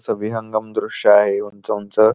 सविहंगम द्रुश्य आहे उंच उंच.